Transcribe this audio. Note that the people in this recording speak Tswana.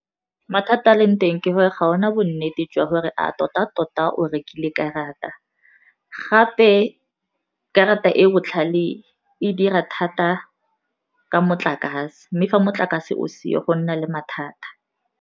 Mathata a leng teng ke gore ga ona bonnete jwa gore a tota-tota o rekile karata, gape karata e botlhale e dira thata ka motlakase, mme fa motlakase o seo go nna le mathata.